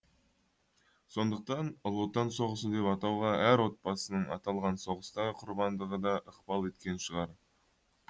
сондықтан ұлы отан соғысы деп атауға әр отбасының аталған соғыстағы құрбандығы да ықпал еткен шығар